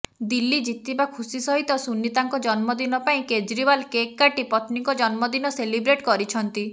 ଦିଲ୍ଲୀ ଜିତିବା ଖୁସି ସହିତ ସୁନୀତାଙ୍କ ଜନ୍ମଦିନ ପାଇଁ କେଜ୍ରିୱାଲ କେକ୍ କାଟି ପତ୍ନୀଙ୍କ ଜନ୍ମଦିନ ସେଲିବ୍ରେଟ କରିଛନ୍ତି